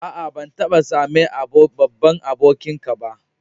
Aa, ban taba same babban abokin ka ba.